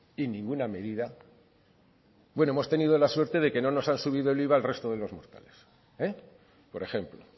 y ninguna medida bueno hemos tenido la suerte de que no nos han subido el iva al resto de los mortales eh por ejemplo